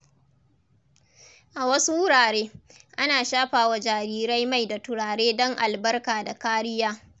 A wasu wurare, ana shafa wa jariri mai da turare don albarka da kariya.